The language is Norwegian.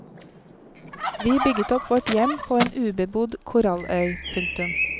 Vi bygget opp vårt hjem på en ubebodd koralløy. punktum